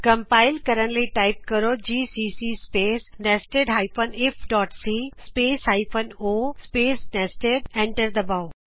compile ਕਰਨ ਲਈ type ਕਰੋ ਜੀਸੀਸੀ ਸਪੇਸ nested ifਸੀ space hyphen o space nested enter ਦਬਾਉ